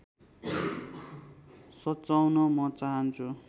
सच्चाउन म चाहन्छु